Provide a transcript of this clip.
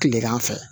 Kilegan fɛ